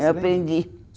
Eu aprendi.